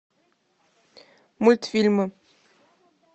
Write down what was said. мультфильмы